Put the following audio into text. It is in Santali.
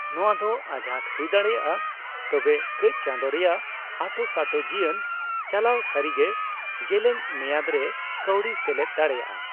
ᱱᱚᱣᱟ ᱫᱚ ᱟᱸᱡᱷᱟᱴ ᱦᱩᱭ ᱫᱟᱲᱮᱭᱟᱜᱼᱟ, ᱛᱚᱵᱮ ᱠᱟᱹᱪ ᱪᱟᱸᱫᱳ ᱨᱮᱭᱟᱜ ᱟᱸᱴᱳᱥᱟᱸᱴᱳ ᱡᱤᱭᱟᱹᱱ ᱪᱟᱞᱟᱣ ᱥᱟᱹᱨᱤᱜᱮ ᱡᱮᱞᱮᱧ ᱢᱮᱭᱟᱫ ᱨᱮ ᱠᱟᱹᱣᱰᱤᱭ ᱥᱮᱞᱮᱫ ᱫᱟᱲᱮᱭᱟᱜᱼᱟ ᱾